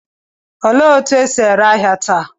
Olee otú e si ere ahịa taa?